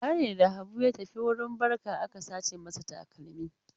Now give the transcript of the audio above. Bara ne da Habu ya tafi wurin barka aka sace masa takalmi.